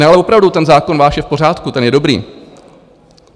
Ne, ale opravdu, ten zákon váš je v pořádku, ten je dobrý.